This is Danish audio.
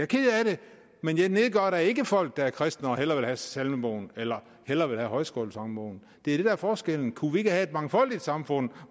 ked af det men jeg nedgør da ikke folk der er kristne og hellere vil have salmebogen eller hellere vil have højskolesangbogen det er det der er forskellen kunne vi ikke have et mangfoldigt samfund